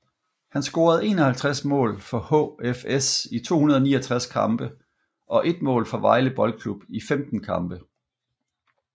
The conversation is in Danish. Han scorede 51 mål for HFS i 269 kampe og 1 mål for Vejle Boldklub i 15 kampe